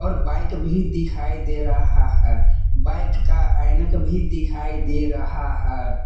Bike भी दिखाई दे रहा है बाइक का ऐनक भी दिखाई दे रहा है।